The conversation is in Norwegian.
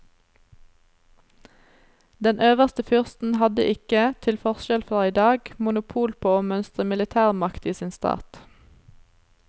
Den øverste fyrsten hadde ikke, til forskjell fra i dag, monopol på å mønstre militærmakt i sin stat.